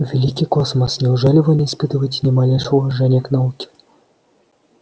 великий космос неужели вы не испытываете ни малейшего уважения к науке